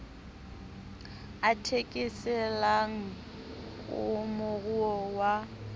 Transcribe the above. a thekeselang a moruo wa